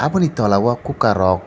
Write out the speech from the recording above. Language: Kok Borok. oboni tola o kukar kok.